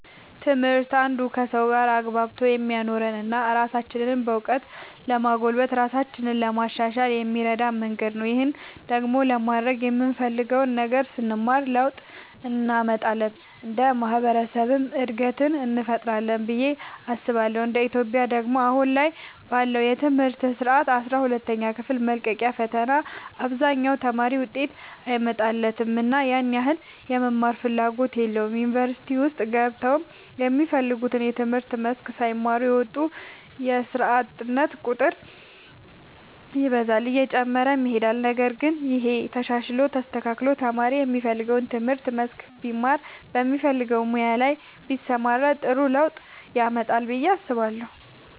ትምህርት አንዱ ከሰዎች ጋር አግባብቶ የሚያኖረን እና ራሳችንንም በእውቀት ለማጎልበት ራሳችንን ለማሻሻል የሚረዳን መንገድ ነው። ይህን ደግሞ ለማድረግ የምንፈልገውን ነገር ስንማር ለውጥ እንመጣለን እንደ ማህበረሰብም እድገትን እንፈጥራለን ብዬ አስባለሁ እንደ ኢትዮጵያ ደግሞ አሁን ላይ ባለው የትምህርት ስርዓት አስራ ሁለተኛ ክፍል መልቀቂያ ፈተና አብዛኛው ተማሪ ውጤት አይመጣለትምና ያን ያህል የመማርም ፍላጎት የለውም ዩኒቨርሲቲ ውስጥ ገብተውም የሚፈልጉትን የትምህርት መስክ ሳይማሩ እየወጡ የስርዓት ቁጥር ይበዛል እየጨመረም ይሄዳል ነገር ግን ይሄ ተሻሽሎ ተስተካክሎ ተማሪ የሚፈልገውን የትምህርት መስክ ቢማር በሚፈልገው ሙያ ላይ ቢሰማራ ጥሩ ለውጥ ያመጣል ብዬ አስባለሁ።